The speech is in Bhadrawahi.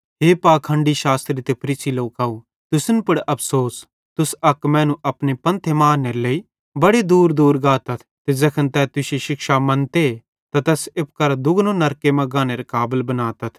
हे पाखंडी शास्त्री ते फरीसी लोकव तुसन पुड़ अफ़सोस तुस अक मैनू अपने धर्मे मां आन्नेरे लेइ बड़े दूरदूर गातथ ते ज़ैखन तै तुश्शी शिक्षा मन्ते त तैस एप्पू करां दुगनो नरके मां गानेरे काबल बनातथ